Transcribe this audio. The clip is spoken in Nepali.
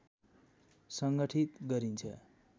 सङ्गठित गरिन्छ